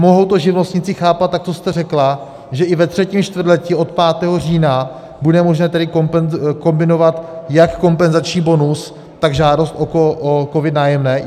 Mohou to živnostníci chápat tak, co jste řekla, že i ve třetím čtvrtletí od 5. října, bude možné tedy kombinovat jak kompenzační bonus, tak žádost o COVID - Nájemné?